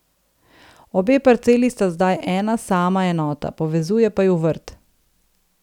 Obe parceli sta zdaj ena sama enota, povezuje pa ju vrt.